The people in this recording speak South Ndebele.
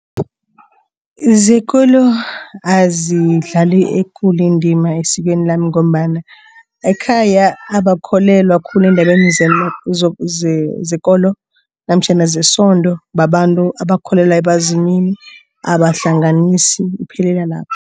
Zekolo azidlali ekulu indima esikweni lami ngombana ekhaya abakholelwa khulu endabeni zekolo namtjhana zesondo, babantu abakholelwa ebazimini, abahlanganisi iphelela lapho.